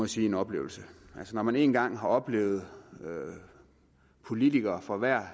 sige en oplevelse altså når man en gang har oplevet politikere fra hver